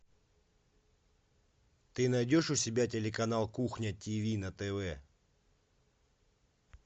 ты найдешь у себя телеканал кухня тв на тв